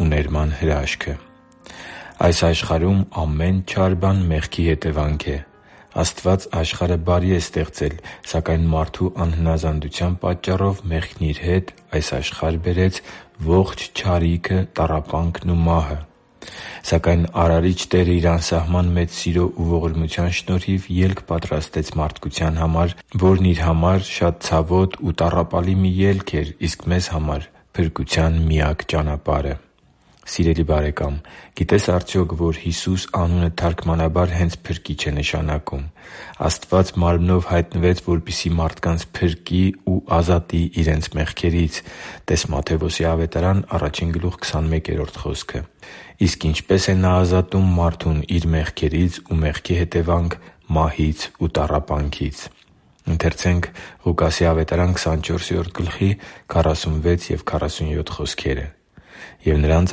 ու ներման հրաշքը Այս աշխարհում ամեն չար բան մեղքի հետևանք է։ Աստված աշխարհը բարի է ստեղծել, սակայն մարդու անհնազանդության պատճառով մեղքն իր հետ այս աշխարհ բերեց ողջ չարիքը, տառապանքն ու մահը։ Սակայն Արարիչ Տերը Իր անսահման մեծ սիրո ու ողորմության շնորհիվ ելք պատրաստեց մարդկության համար, որն Իր համար շատ ցավոտ ու տառապալի մի ելք էր, իսկ մեզ համար՝ փրկության միակ ճանապարհը․․․ Սիրելի՛ բարեկամ, գիտե՞ս արդյոք, որ Հիսուս անունը թարգմանաբար հենց Փրկիչ է նշանակում։ Աստված մարմնով հայտնվեց, որպեսզի մարդկանց փրկի ու ազատի իրենց մեղքերից (տե՛ս Մատթեոս 1.21 խոսքը)։ Իսկ ինչպե՞ս է Նա ազատում մարդուն իր մեղքերից ու մեղքի հետևանք մահից ու տառապանքից։ «Եվ նրանց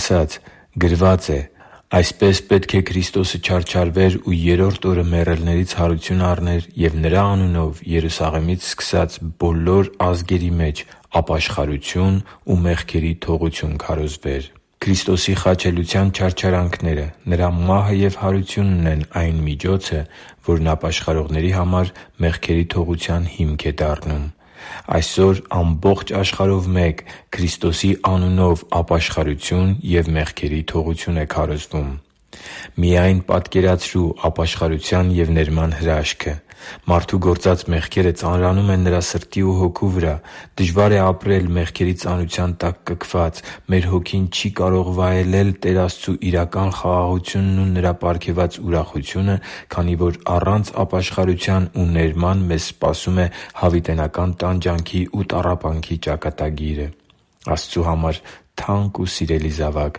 ասաց. «Գրված է. այսպես պետք է Քրիստոսը չարչարվեր ու երրորդ օրը մեռելներից հարություն առներ, և Նրա անունով, Երուսաղեմից սկսած, բոլոր ազգերի մեջ ապաշխարություն ու մեղքերի թողություն քարոզվեր» (Ղուկաս 24․46-47): Քրիստոսի խաչելության չարչարանքները, Նրա մահը և հարությունն են այն միջոցը, որն ապաշխարողների համար մեղքերի թողության հիմք է դառնում։ Այսօր ամբողջ աշխարհով մեկ Քրիստոսի անունով ապաշխարություն և մեղքերի թողություն է քարոզվում։ Միայն պատկերացրու ապաշխարության և ներման հրաշքը։ Մարդու գործած մեղքերը ծանրանում են նրա սրտի ու հոգու վրա։ Դժվար է ապրել մեղքերի ծանրության տակ կքված։ Մեր հոգին չի կարող վայելել Տեր Աստծու իրական խաղաղությունն ու Նրա պարգևած ուրախությունը, քանի որ առանց ապաշխարության ու ներման մեզ սպասում է հավիտենական տանջանքի ու տառապանքի ճակատագիրը։ Աստծու համար թանկ ու սիրելի՛ զավակ,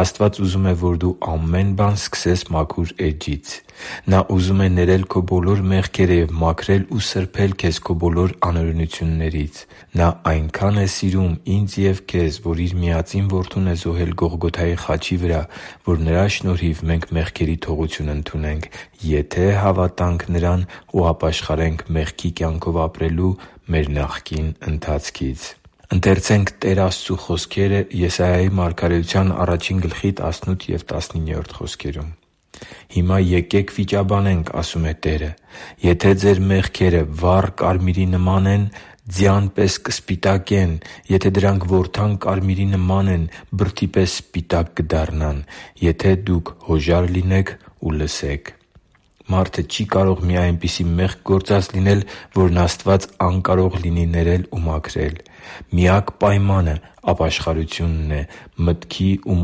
Աստված ուզում է, որ դու ամեն բան սկսես մաքուր էջից։ Նա ուզում է ներել քո բոլոր մեղքերը և մաքրել ու սրբել քեզ քո բոլոր անօրինություններից։ Նա այնքա՜ն է սիրում ինձ և քեզ, որ Իր միածին Որդուն է զոհել Գողգոթայի խաչի վրա, որ Նրա շնորհիվ մենք մեղքերի թողություն ընդունենք, եթե հավատանք Նրան ու ապաշխարենք մեղքի կյանքով ապրելու մեր նախկին ընթացքից։ «Հիմա եկե՛ք վիճաբանենք,- ասում է Տերը,- եթե ձեր մեղքերը վառ կարմիրի նման են, ձյան պես կսպիտակեն. եթե դրանք որդան կարմիրի նման են, բրդի պես սպիտակ կդառնան։ Եթե դուք հոժար լինեք ու լսեք…» (Եսայիա 1․18-19): Մարդը չի կարող մի այնպիսի մեղք գործած լինել, որն Աստված անկարող լինի ներել ու մաքրել։ Միակ պայմանը ապաշխարությունն է՝ մտքի ու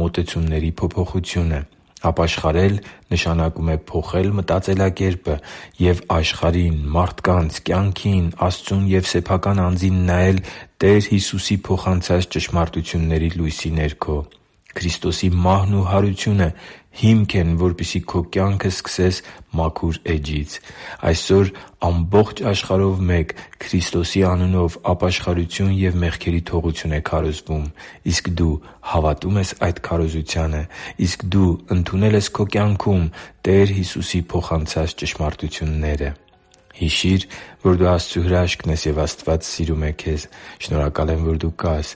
մոտեցումների փոփոխությունը։ Ապաշխարել նշանակում է փոխել մտածելակերպը և աշխարհին, մարդկանց, կյանքին, Աստծուն ու սեփական անձին նայել Տեր Հիսուսի փոխանցած ճշմարտությունների լույսի ներքո։ Քրիստոսի մահն ու հարությունը հիմք են, որպեսզի քո կյանքը սկսես մաքուր էջից։ Այսօր ամբողջ աշխարհով մեկ Քրիստոսի անունով ապաշխարություն և մեղքերի թողություն է քարոզվում։ Իսկ դու հավատո՞ւմ ես այդ քարոզությանը։ Իսկ դու ընդունե՞լ ես քո կյանքում Տեր Հիսուսի փոխանցած ճշմարտությունները․․․ Հիշի՛ր, որ դու Աստծո հրաշքն ես, և Աստված սիրում է քեզ։ Շնորհակալ եմ, որ դու կա՛ս